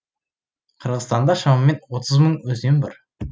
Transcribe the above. қырғызстанда шамамен отыз мың өзен бар